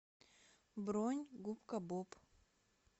бронь губка боб